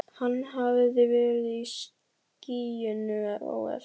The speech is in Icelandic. Hann hafði verið í skýjunum á eftir.